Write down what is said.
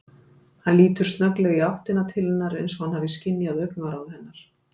Hann lítur snögglega í áttina til hennar eins og hann hafi skynjað augnaráð hennar.